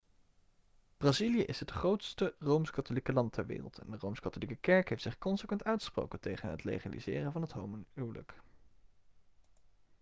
brazilië is het grootste rooms-katholieke land ter wereld en de rooms-katholieke kerk heeft zich consequent uitgesproken tegen het legaliseren van het homohuwelijk